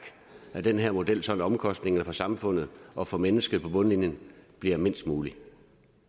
den her model så omkostningerne for samfundet og for menneskerne på bundlinjen bliver mindst mulige